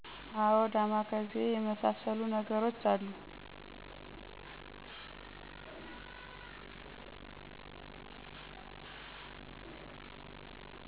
አወ ዳማ ካሴ የመሳሰሉ ነገሮች አሉ